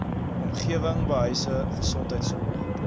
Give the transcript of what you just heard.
omgewing behuising gesondheidsorg